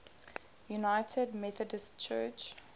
united methodist church